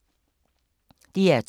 DR2